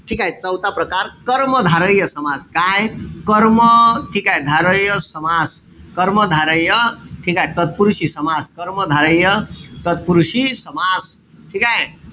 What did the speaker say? ठीकेय? चौथा प्रकार कर्मधारय समास. काय? कर्म ठीकेय? धारय समास. कर्मधारय ठीकेय? तत्पुरुषी समास. कर्मधारय तत्पुरुषी समास. ठीकेय?